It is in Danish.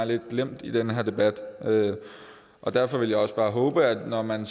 lidt glemt i den her debat og derfor vil jeg også bare håbe at når man